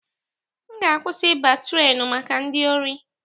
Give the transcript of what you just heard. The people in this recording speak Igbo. M ga akwụsị ịba trenu maka ndị ori